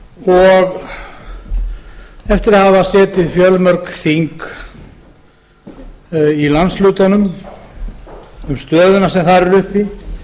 og eftir að hafa setið fjölmörg þing í landshlutunum um stöðuna sem þar er uppi